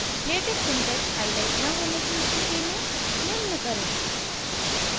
latex syntax highlight न होने की स्थिति में निम्न करें